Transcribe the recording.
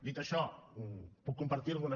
dit això puc compartir algunes